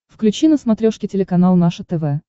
включи на смотрешке телеканал наше тв